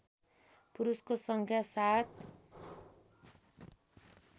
पुरुषको सङ्ख्या सात